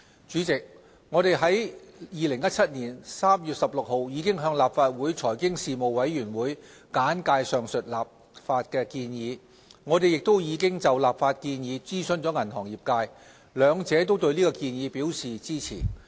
主席，我們已在2017年3月16日向立法會財經事務委員會簡介上述立法建議。我們亦已就立法建議諮詢了銀行業界。兩者均對建議表示支持。